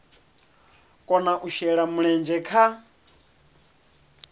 kona u shela mulenzhe kha